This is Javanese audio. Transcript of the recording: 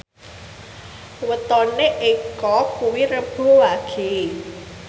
wetone Eko kuwi Rebo Wage